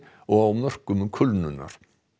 og á mörkum kulnunar